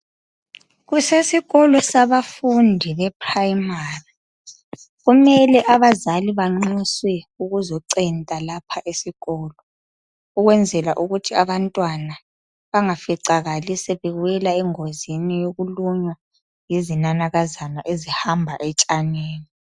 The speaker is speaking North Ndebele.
Kusikolo sabafundi beprimary. Kumele abazali banxuswe ukuzocenta lapha esikolo ukwenzela ukuthi abantwana bangaficakali sebewela engozini yokulunywa yizinanakazana ezihamba etshanini.